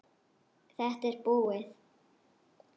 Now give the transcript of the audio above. Þetta er búið!